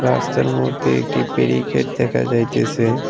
রাস্তার মদ্যে একটি বেরিকেট দেখা যাইতেসে।